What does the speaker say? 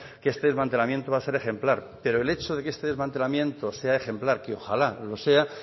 que este desmantelamiento va a ser ejemplar pero el hecho de que este desmantelamiento sea ejemplar que ojalá lo sea